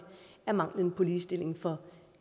er manglende ligestilling for